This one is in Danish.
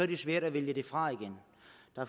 det svært at vælge fra igen